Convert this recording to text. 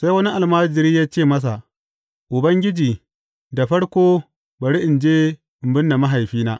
Sai wani almajiri ya ce masa, Ubangiji, da farko bari in je in binne mahaifina.